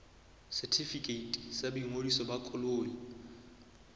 setefikeiti sa boingodiso ba koloi